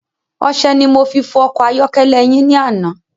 Ọsẹ ni mo fi fọ ọkọ̀ ayọ́kẹ́lẹ́ yin ni àná